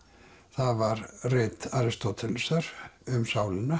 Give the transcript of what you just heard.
það var rit Aristótelesar um sálina